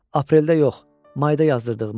Apreldə yox, mayda yazdırdığıma.